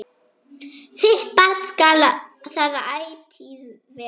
Þitt barn skal það ætíð vera.